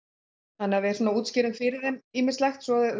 þannig við útskýrðum fyrir þeim ýmislegt svo